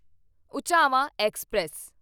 ਉਝਾਵਾਂ express